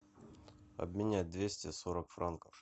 обменять двести сорок франков